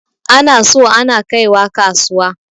Ana so ana kaiwa kasuwa.